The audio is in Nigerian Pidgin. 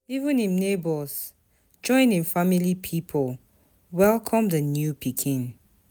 Even im nebors join im family pipo welcome di new pikin.